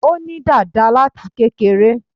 Ó ní dàda láti kékeré